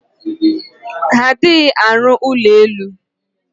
Ha adirighi aru ulo elu.